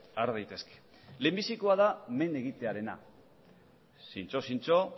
har daitezke lehenbizikoa da men egitearena zintzo zintzo